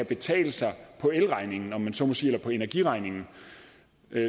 betale sig på elregningen om jeg så må sige eller på energiregningen